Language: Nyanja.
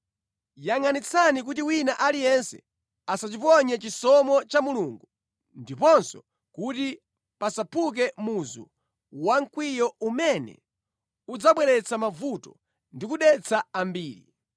Yangʼanitsitsani kuti wina aliyense asachiphonye chisomo cha Mulungu ndiponso kuti pasaphuke muzu wamkwiyo umene udzabweretsa mavuto ndi kudetsa ambiri.